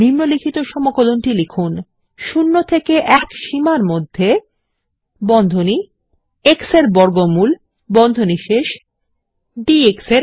নিম্নলিখিত সমকলন টি লিখুন 0 থেকে 1 সীমার মধ্যে x er বর্গমূল ডিএক্স